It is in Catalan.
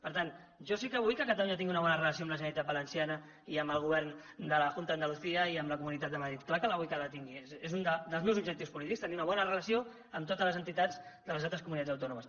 per tant jo sí que vull que catalunya tingui una bona relació amb la generalitat valenciana i amb el govern de la junta de andalucía i amb la comunitat de madrid clar que vull que la tingui és un dels meus objectius polítics tenir una bona relació amb totes les entitats de les altres comunitats autònomes